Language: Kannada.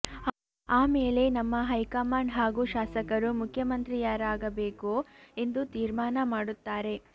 ಆಮೇಲೆ ನಮ್ಮ ಹೈಕಮಾಂಡ್ ಹಾಗೂ ಶಾಸಕರು ಮುಖ್ಯಮಂತ್ರಿಯಾರಾಗಬೇಕು ಎಂದು ತೀರ್ಮಾನ ಮಾಡುತ್ತಾರೆ